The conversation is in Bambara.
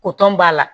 b'a la